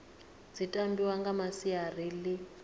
dzi tambiwa nga masiari ḽi